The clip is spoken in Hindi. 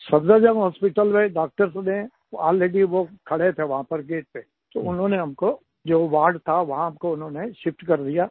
सफदरजंग हॉस्पिटल में डॉक्टर्स ने अलरेडी वो खड़े थे वहां पर गेट पे तो उन्होंने हमको जो वार्ड था वहां पर हमको उन्होंने शिफ्ट कर दिया